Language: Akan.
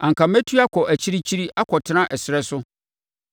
anka mɛtu akɔ akyirikyiri akɔtena ɛserɛ so;